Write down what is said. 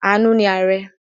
Àánú ni ààrẹ̀.